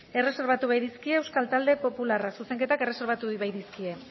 erreserbatu baitizkie euskal talde popularrak zuzenketak erreserbatu baitizkie